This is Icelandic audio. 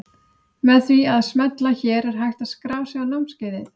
Með því að smella hér er hægt að skrá sig á námskeiðið.